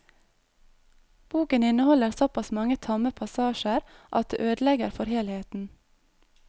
Boken inneholder såpass mange tamme passasjer at det ødelegger for helheten.